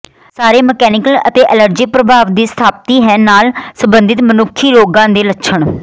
ਸਾਰੇ ਮਕੈਨੀਕਲ ਅਤੇ ਐਲਰਜੀ ਪ੍ਰਭਾਵ ਦੀ ਸਥਾਪਤੀ ਹੈ ਨਾਲ ਸਬੰਧਿਤ ਮਨੁੱਖੀ ਰੋਗ ਦੇ ਲੱਛਣ